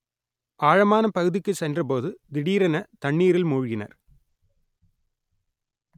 ஆழமான பகுதிக்கு சென்றபோது திடீரென தண்ணீரில் மூழ்கினர்